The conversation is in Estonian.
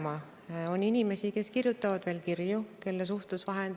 Mis see 20 miljonit aasta 2021 real on: kas see on ehitusraha või see on projekteerimisraha?